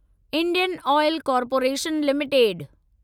Indian oil corporation limited